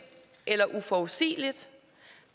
eller uforudsigeligt